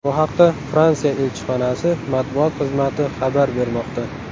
Bu haqda Fransiya elchixonasi matbuot xizmati xabar bermoqda .